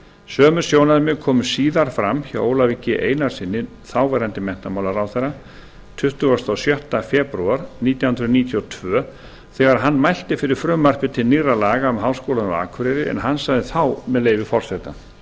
sömu sjónarmið komu síðar fram hjá ólafi g einarssyni þáv menntamálaráðherra tuttugasta og sjötta febrúar nítján hundruð níutíu og tvö þegar hann mælti fyrir frumvarpi til nýrra laga um háskólann á akureyri en hann sagði þá með leyfi forseta